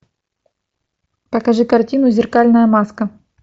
покажи картину зеркальная маска